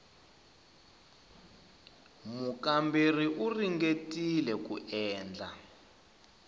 mukamberiwa u ringetile ku endla